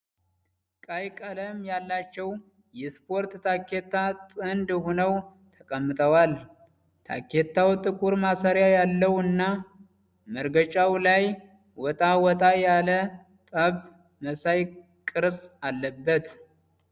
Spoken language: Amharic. ቀይ ቀለም ያላቸው የስፖርት ታኬታ ጥንድ ሆነው ተቀምጠዋል። ታኬታው ጥቁር ማሰሪያ ያለው እና መረገጫው ላይ ወጣ ወጣ ያለ ጡብ መሳይ ቅርጽ አለበት።